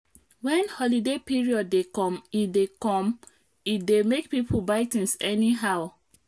when holiday period dey come e dey come e dey makepoeple buy things anyhow